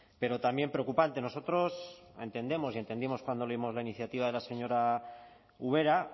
pero también preocupante nosotros entendemos y entendimos cuando leímos la iniciativa de la señora ubera